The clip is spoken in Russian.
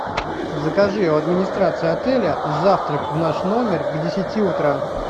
закажи у администрации отеля завтрак в наш номер к десяти утра